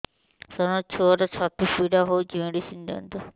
ସାର ମୋର ଛୁଆର ଛାତି ପୀଡା ହଉଚି ମେଡିସିନ ଦିଅନ୍ତୁ